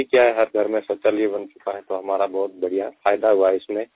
अभी क्या है हर घर में शौचालय बन चुका है तो हमारा बहुत बढ़िया फायदा हुआ है उसमें